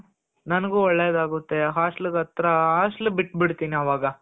ನಂಗು ಒಳ್ಳೆದಾಗುತ್ತೆ.hostel ಗೆ ಹತ್ರ hostel ಬಿಟ್ಟು ಬಿಡ್ತಿನಿ ಅವಗ